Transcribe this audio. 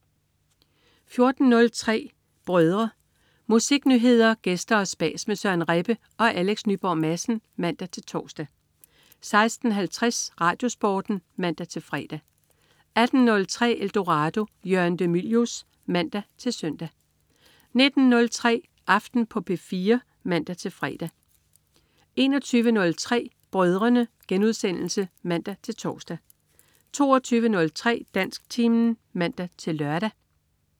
14.03 Brødrene. Musiknyheder, gæster og spas med Søren Rebbe og Alex Nyborg Madsen (man-tors) 16.50 RadioSporten (man-fre) 18.03 Eldorado. Jørgen de Mylius (man-søn) 19.03 Aften på P4 (man-fre) 21.03 Brødrene* (man-tors) 22.03 Dansktimen (man-lør)